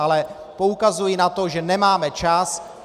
Ale poukazuji na to, že nemáme čas.